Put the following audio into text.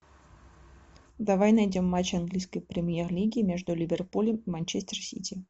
давай найдем матч английской премьер лиги между ливерпулем и манчестер сити